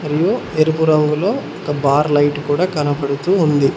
ము ఇందులో ఎరుపు రంగులో ఒక బార్ లైట్ కూడా కనపడుతూ ఉంది.